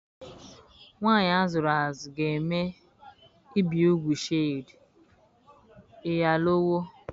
Nwanyị a zụrụ azụ ga-eme ibi úgwù Shade (Iyalawo).